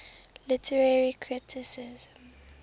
literary criticism